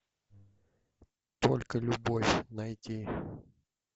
только любовь найди